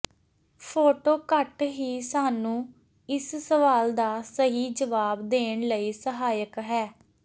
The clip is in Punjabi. ਫੋਟੋ ਘੱਟ ਹੀ ਸਾਨੂੰ ਇਸ ਸਵਾਲ ਦਾ ਸਹੀ ਜਵਾਬ ਦੇਣ ਲਈ ਸਹਾਇਕ ਹੈ